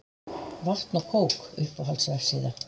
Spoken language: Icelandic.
Vatn og kók Uppáhalds vefsíða?